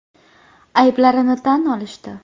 Ayblarini tan olishdi.